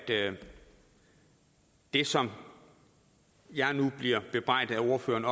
det som jeg nu bliver bebrejdet af ordføreren